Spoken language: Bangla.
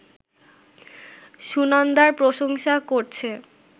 সুনন্দার প্রশংসা করছে